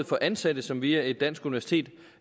for ansatte som via et dansk universitet